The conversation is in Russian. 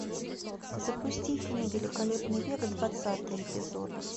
запусти фильм великолепный век двадцатый эпизод